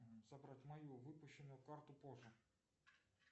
забрать мою выпущенную карту позже